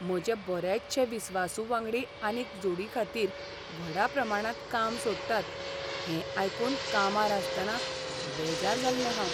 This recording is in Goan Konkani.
म्हजे बरेचशे विस्वासु वांगडी आनीक जोडीखातीर व्हडा प्रमाणांत काम सोडटात हें आयकून कामार आसतना बेजार जाल्लें हांव.